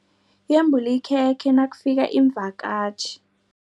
Yembula ikhekhe nakufika iimvakatjhi.